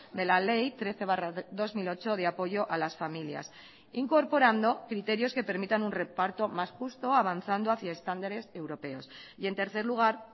de la ley trece barra dos mil ocho de apoyo a las familias incorporando criterios que permitan un reparto más justo avanzando hacia estándares europeos y en tercer lugar